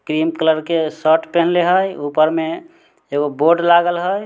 Cream colour के shirt पहिनले हई ऊपर में एगो बोर्ड लागल हई।